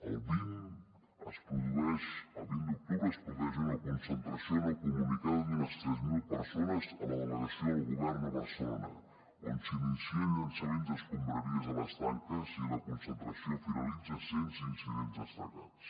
el vint d’octubre es produeix una concentració no comunicada d’unes tres mil persones a la delegació del govern a barcelona on s’inicia llançament d’escombraries a les tanques i la concentració finalitza sense incidents destacats